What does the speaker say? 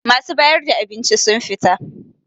Masu bayar da abinci sun fita